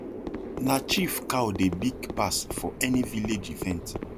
na chief cow dey big pass for any village event